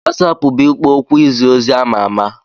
WasaApp bụ ikpo okwu izi ozi ama ama.